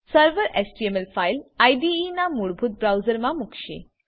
server HTML file IDE ના મૂળભૂત બ્રાઉઝરમા મુકશે